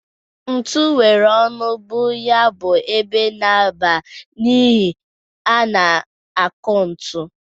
Ntu nwere ọnụ bụ ya bụ ebe na-aba n'ihe a na-akụ ntu.